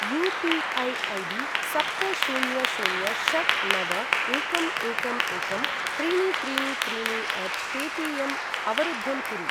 UPI. ID सप्त शून्य शून्य षट् नव एकं एकं एकं त्रीणि त्रीणि त्रीणि अट् पे टि ऎम् अवरुद्धं कुरु।